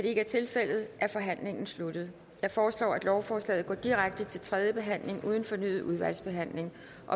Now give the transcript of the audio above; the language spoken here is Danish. ikke er tilfældet er forhandlingen sluttet jeg foreslår at lovforslaget går direkte til tredje behandling uden fornyet udvalgsbehandling